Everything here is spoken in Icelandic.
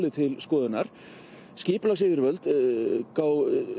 til skoðunar skipulagsfulltrúi